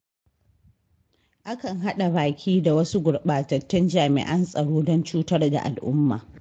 Akan haɗa baki da wasu gurɓatattun jami'an tsaron don cutar da al'umma.